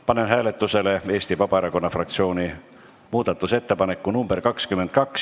Panen hääletusele Eesti Vabaerakonna fraktsiooni muudatusettepaneku nr 22.